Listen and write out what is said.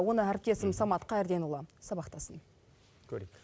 оны әріптесім самат қайырденұлы сабақтасын көрейік